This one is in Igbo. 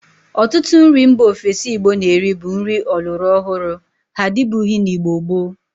Otutu nri mba ofesi Igbo na-eri bu nri ọlụrọ ọhuru; ha adibughi na Igbo gboo.